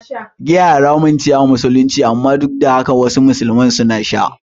Giya haramun ce a Musulunci, amma duk da haka wasu musulman suna sha.